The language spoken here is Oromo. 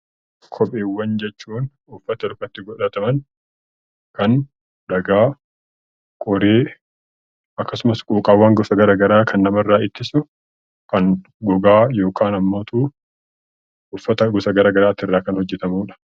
Kopheewwan jechuun uffata miillatti godhataman kan dhagaa, qoree akkasumas quuqqaawwan gosa gara garaa kan namarraa ittisu kan gogaa kan haammatu, uffata gara garaatiirraa kan hojjetamudha.